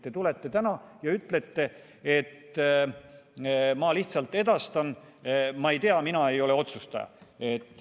Te tulete täna ja ütlete: ma lihtsalt edastan, ma ei tea, mina ei ole otsustaja.